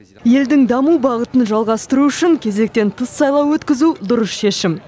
елдің даму бағытын жалғастыру үшін кезектен тыс сайлау өткізу дұрыс шешім